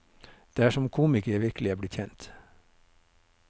Det er som komiker jeg virkelig er blitt kjent.